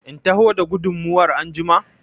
In taho da gudumar anjima?